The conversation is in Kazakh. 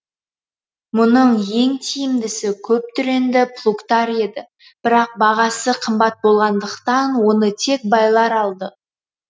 мұның ең тиімдісі көптүренді плугтар еді бірақ бағасы қымбат болғандықтан оны тек байлар алды